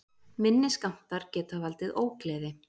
minni skammtar geta valdið ógleði